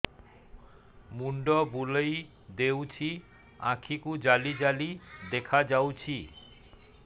ମୁଣ୍ଡ ବୁଲେଇ ଦେଉଛି ଆଖି କୁ ଜାଲି ଜାଲି ଦେଖା ଯାଉଛି